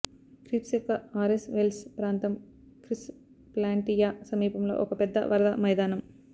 creeps యొక్క Ares Vallis ప్రాంతం Chryse Planitia సమీపంలో ఒక పెద్ద వరద మైదానం